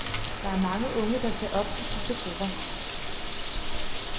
Der er mange unge, der ser op til disse grupper.